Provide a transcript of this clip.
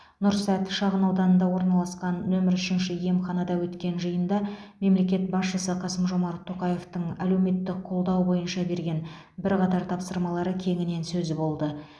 нұрсәт шағынауданында орналасқан нөмір үшінші емханада өткен жиында мемлекет басшысы қасым жомарт тоқаевтың әлеуметтік қолдау бойынша берген бірқатар тапсырмалары кеңінен сөз болды